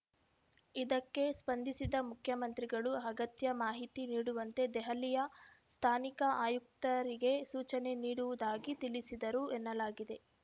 ಇದಕ್ಕೆ ಸ್ಪಂದಿಸಿದ ಮುಖ್ಯಮಂತ್ರಿಗಳು ಅಗತ್ಯ ಮಾಹಿತಿ ನೀಡುವಂತೆ ದೆಹಲಿಯ ಸ್ಥಾನಿಕ ಆಯುಕ್ತರಿಗೆ ಸೂಚನೆ ನೀಡುವುದಾಗಿ ತಿಳಿಸಿದರು ಎನ್ನಲಾಗಿದೆ